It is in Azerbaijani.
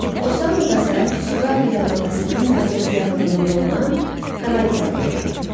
Osamu Dazay Suqaru yarımadasının mərkəzi yaxınlığında olan Kanagi anadan olub.